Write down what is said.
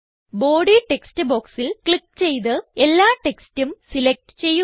body text ബോക്സിൽ click ചെയ്ത് എല്ലാ ടെക്സ്റ്റും സിലക്റ്റ് ചെയ്യുക